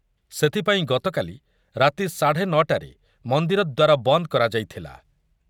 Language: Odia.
ସେଥିପାଇଁ ଗତକାଲି ରାତି ସାଢେ ନ ଟାରେ ମନ୍ଦିର ଦ୍ୱାର ବନ୍ଦ କରାଯାଇଥିଲା ।